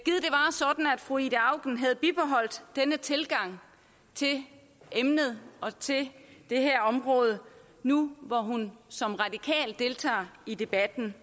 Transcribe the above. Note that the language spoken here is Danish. fru ida auken havde bibeholdt denne tilgang til emnet og til det her område nu hvor hun som radikal deltager i debatten